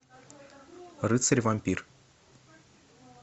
рыцарь вампир